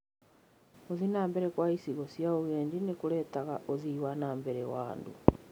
Gũthii na mbere kwa icigo cia ũgendi nĩ kũrehaga ũthii wa na mbere wa andũ.